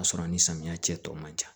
K'a sɔrɔ a ni samiya cɛ tɔ man ca